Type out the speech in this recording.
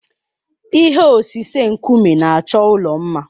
Ihe osise nkume na-achọ ụlọ mma.